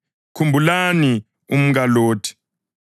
Khumbulani umkaLothi!